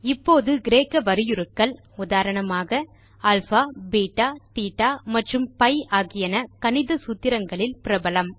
இப்போது கிரேக்க வரியுருக்கள் உதாரணமாக அல்பா பெட்டா தேட்ட மற்றும் பி ஆகியன கணித சூத்திரங்களில் பிரபலம்